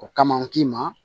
O kama n k'i ma